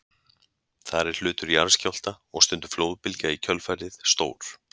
Þar er hlutur jarðskjálfta, og stundum flóðbylgja í kjölfarið, stór.